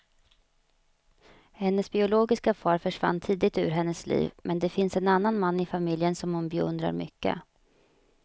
Hennes biologiska far försvann tidigt ur hennes liv, men det finns en annan man i familjen som hon beundrar mycket.